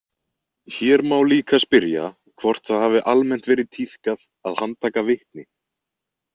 Hér má líka spyrja hvort það hafi almennt verið tíðkað að handtaka vitni.